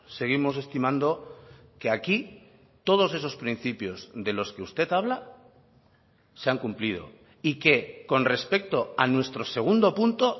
seguimos estimando que aquí todos esos principios de los que usted habla se han cumplido y que con respecto a nuestro segundo punto